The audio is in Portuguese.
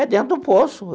É dentro do poço.